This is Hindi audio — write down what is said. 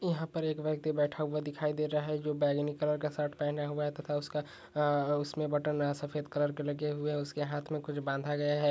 यहां पे एक व्यक्ति बैठा हुआ दिखाई दे रहा है जो बैगनी कलर का शर्ट पहना हुआ हैं तथा उसका बटन सफेद कलर का लगे हुए है उसके हाथ में कुछ बांधे हुए हैं।